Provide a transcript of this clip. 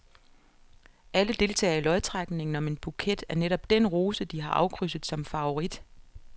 Alle deltager i lodtrækningen om en buket af netop den rose, de har afkrydset som favorit.